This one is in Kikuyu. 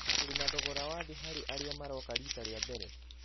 Tũrĩ na thogora wa thi harĩ arĩa maroka riita rĩa mbere.